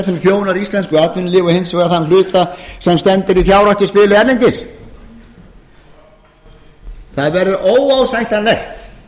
sem þjónar íslensku atvinnulífi og hins vegar þann hluta sem stendur í fjárhættuspili erlendis það verður óásættanlegt